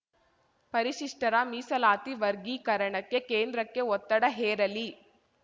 ಪರಿಶಿಷ್ಟರ ಮೀಸಲಾತಿ ವರ್ಗೀಕರಣಕ್ಕೆ ಕೇಂದ್ರಕ್ಕೆ ಒತ್ತಡ ಹೇರಲಿ